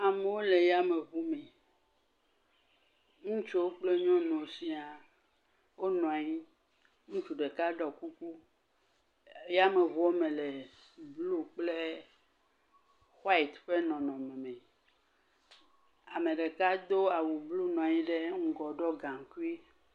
Amewo le yameŋu me, ŋutsuwo kple nyɔnuwo siaa, wonɔ anyi, ŋutsu ɖeka ɖɔ kuku, yameŋua me le blu kple white ƒe nɔnɔme me, ame ɖeka do awu blu nɔ anyi ɖe ŋgɔgbe ɖɔ gaŋkui.